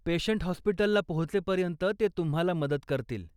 Patient हॉस्पिटलला पोहचेपर्यंत ते तुम्हाला मदत करतील.